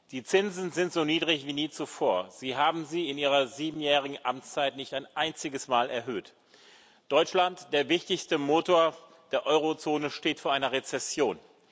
Die Zinsen sind so niedrig wie nie zuvor. Sie haben sie in Ihrer siebenjährigen Amtszeit nicht ein einziges Mal erhöht. Deutschland, der wichtigste Motor des Euro Währungsgebiets, steht vor einer Rezession.